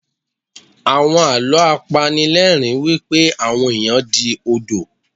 Àwọn Àlọ́ a pani ni ẹ̀rín wípé àwọn ẹ̀yàn di Odò.